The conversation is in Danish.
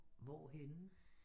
Hvor henne?